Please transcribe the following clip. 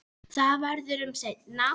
Það verður um seinan.